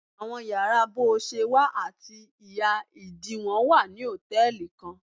Awọn yàrá boṣewa ati iha-idiwọn wa ni hòtẹ́ẹ̀lì kan.